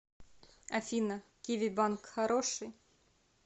афина киви банк хороший